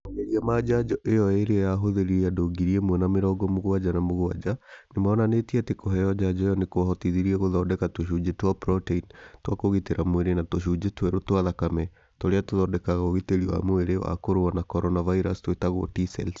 Mageria ma njanjo ĩyo ĩrĩa yahũthĩrire andũ ngiri ĩmwe na mĩrongo mũgwanja na mũgwanja nĩ monanĩtie atĩ kũheo njanjo iyo nĩ kwahotithirie gũthondeka tũcunjĩ twa proteini twa kũgitĩra mwĩrĩ na tũcunjĩ twerũ twa thakame tũrĩa tũthondekaga ũgitĩri wa mwĩrĩ wa kũrũa na corona virus twĩtagwo T-cells.